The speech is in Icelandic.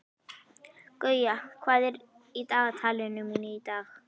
Guja, hvað er í dagatalinu mínu í dag?